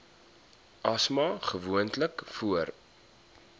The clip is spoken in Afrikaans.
asma gewoonlik voor